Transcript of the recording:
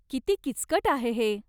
किती किचकट आहे हे.